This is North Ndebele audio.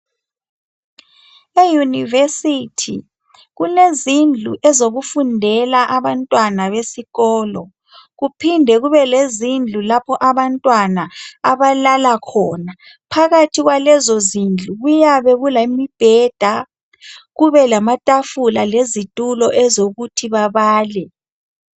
Euniversity kulezindlu ezokufundela okufundelwa khona kuphinde kube lendawomlapho la abantwana abalala khona phakathi kwalezo zindlu kuyabe kulembheda kube lamatafula lezitulo ezokuthi bebale